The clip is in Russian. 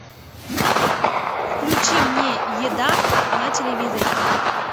включи мне еда на телевизоре